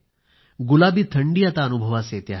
गुलाबी थंडी आता अनुभवास येते आहे